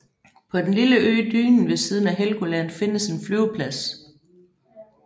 På den lille ø Dynen ved siden af Helgoland findes en flyveplads